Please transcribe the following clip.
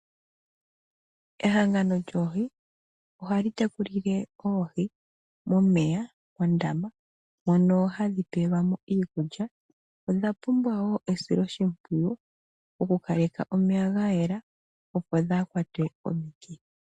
Ehangano lyOohi ohali tekulile Oohi momeya mondama mono hadhi pelwa mo iikulya. Odha pumbwa wo esilo shimpwiyu oku kaleka omeya ga yela opo dhaakwatwe ko mikithi